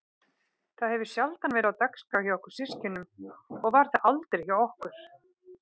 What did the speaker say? Það hefur sjaldan verið á dagskrá hjá okkur systkinunum og var það aldrei hjá okkur